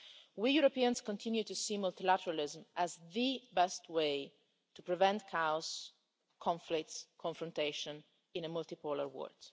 We Europeans continue to see multilateralism as the best way to prevent chaos, conflicts and confrontation in a multi-polar world.